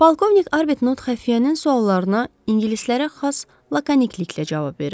Polkovnik Arbtnott xəfiyyənin suallarına ingilislərə xas lakonliklə cavab verirdi.